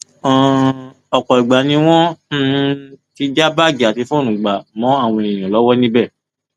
um ọpọ ìgbà ni wọn um ti já báàgì àti fóònù gbà mọ àwọn èèyàn lọwọ níbẹ